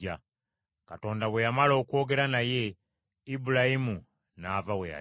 Katonda bwe yamala okwogera naye, Ibulayimu n’ava we yali.